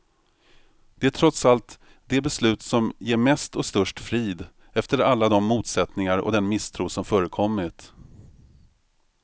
Det är trots allt det beslut som ger mest och störst frid, efter alla de motsättningar och den misstro som förekommit.